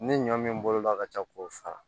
Ni ɲɔ min bolola ka ca k'o fara